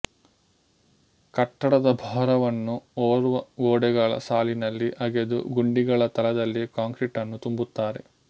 ಕಟ್ಟಡದ ಭಾರವನ್ನು ಹೊರುವ ಗೋಡೆಗಳ ಸಾಲಿನಲ್ಲಿ ಅಗೆದು ಗುಂಡಿಗಳ ತಳದಲ್ಲಿ ಕಾಂಕ್ರೀಟನ್ನು ತುಂಬುತ್ತಾರೆ